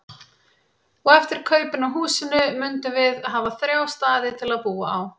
Og eftir kaupin á húsinu mundum við hafa þrjá staði til að búa á.